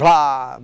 Blá!